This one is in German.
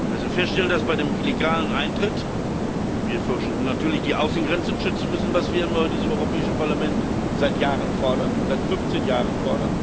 Wir müssen feststellen, dass wir bei einem illegalen Eintritt natürlich die Außengrenzen schützen müssen, was wir in diesem Europäischen Parlament seit Jahren fordern, seit 15 Jahren bereits,